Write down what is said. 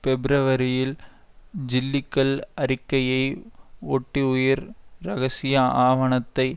பிப்ரவரியில் ஜில்லிகன் அறிக்கையை ஒட்டி உயர் இரகசிய ஆவணத்தை